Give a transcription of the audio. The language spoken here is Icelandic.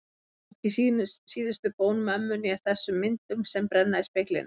Hvorki síðustu bón mömmu né þessum myndum sem brenna í speglinum.